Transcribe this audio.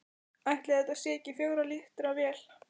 Ætli þetta sé ekki fjögurra lítra vél?